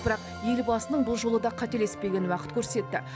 бірақ елбасының бұл жолы да қателеспегенін уақыт көрсетті